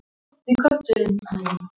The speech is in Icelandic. Þeir hafa verið að spila alveg ágætlega.